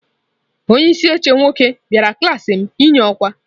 Onye isi oche nwoke bịara klaasị m inye ọkwa.